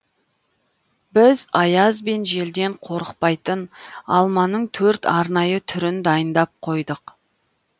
біз аяз бен желден қорықпайтын алманың төрт арнайы түрін дайындап қойдық